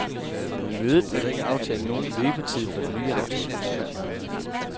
På mødet blev der ikke aftalt nogen løbetid for den nye aftale.